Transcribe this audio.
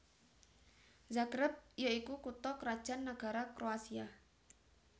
Zagreb ya iku kutha krajan nagara Kroasia